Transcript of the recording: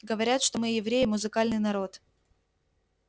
говорят что мы евреи музыкальный народ